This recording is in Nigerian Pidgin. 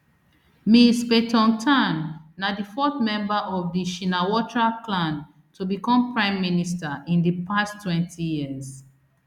ms paetongtarn na di fourth member of di shinawatra clan to become prime minister in di past twenty years